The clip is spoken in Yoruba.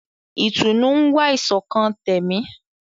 Ìtùnú ń wá ìṣọ̀kan tẹ̀mí.